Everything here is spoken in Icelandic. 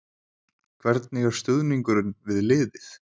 Hvernig er stuðningurinn við liðið?